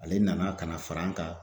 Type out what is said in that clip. Ale nana kana far'an ka